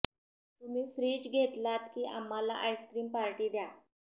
तुम्ही फ्रिज घेतलात की आम्हाला आइसक्रीम पार्टी द्या